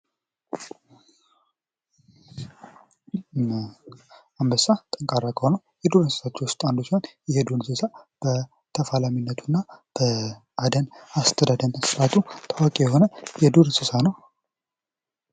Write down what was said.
አንበሳ ጠንካራ ከሆኑ የዱር እንስሳቶች መካከል ሲሆን የዱር እንስሳ በተፈላሚነቱ እና በአደን አስተዳደን ስርአቱ ታዋቂ የሆነ የዱር እንስሳ ነው።